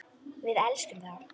Við elskum þá.